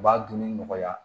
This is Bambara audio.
U b'a dunni nɔgɔya